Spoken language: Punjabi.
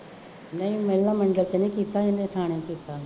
ਨਹੀਂ ਮਹਿਲਾ ਮੰਡਲ ਚ ਨਹੀਂ ਕੀਤਾ, ਇਹਨੇ ਥਾਣੇ ਕੀਤਾ